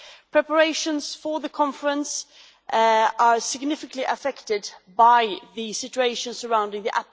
Preparations for the conference are significantly affected by the situation surrounding the